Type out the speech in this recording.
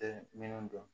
Tɛ minnu dɔn